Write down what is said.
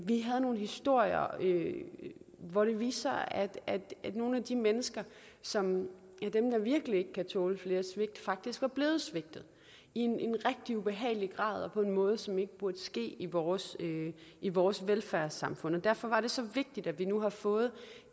vi havde nogle historier hvor det viste sig at nogle af de mennesker som virkelig ikke kan tåle flere svigt faktisk var blevet svigtet i en rigtig ubehagelig grad og på en måde som ikke burde ske i vores i vores velfærdssamfund derfor var det så vigtigt at vi nu har fået